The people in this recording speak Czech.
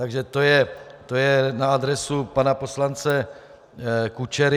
Tak to je na adresu pana poslance Kučery.